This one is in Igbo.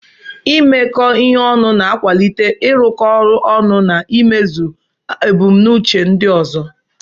Imekọ ihe ọnụ na-akwalite ịrụkọ ọrụ ọnụ na imezu ebumnuche ndị ọzọ.